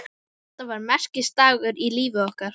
Þetta var merkisdagur í lífi okkar.